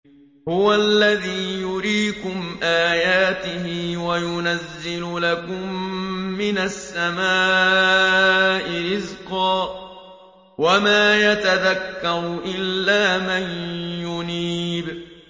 هُوَ الَّذِي يُرِيكُمْ آيَاتِهِ وَيُنَزِّلُ لَكُم مِّنَ السَّمَاءِ رِزْقًا ۚ وَمَا يَتَذَكَّرُ إِلَّا مَن يُنِيبُ